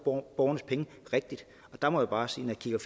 borgernes penge rigtigt og der må jeg bare sige